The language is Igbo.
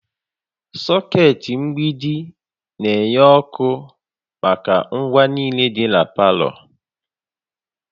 Socket mgbidi na-enye ọkụ maka ngwa niile dị na palọ